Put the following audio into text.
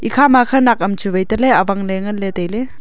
ikhama khanak am chu vai tahle awangley nganley tailey.